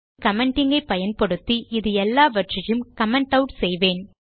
commenting ஐ பயன்படுத்தி இது எல்லாவற்றையும் கமெண்ட் ஆட் செய்வேன்